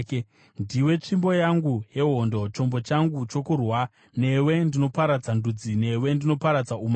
“Ndiwe tsvimbo yangu yehondo, chombo changu chokurwa, newe ndinoparadza ndudzi, newe ndinoparadza umambo,